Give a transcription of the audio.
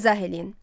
İzah eləyin.